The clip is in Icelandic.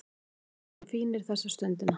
Við erum fínir þessa stundina